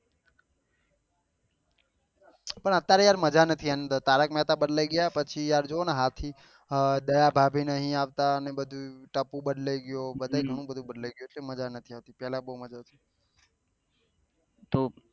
પણ અત્યારે યાર મજા નહી એની અંદર તારક મેહતા બદલાઈ ગયા પછી યાર જુવો ને હાથી દયા ભાભી નહી આવતા અને બધું ટપ્પુ બદલાઈ ગયો બહુ બહુ બધું બદલાઈ ગયો એટલે મજા નહી